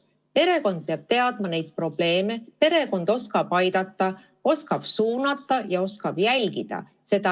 Perekond peab neid probleeme teadma, perekond oskab aidata, oskab suunata ja oskab jälgida.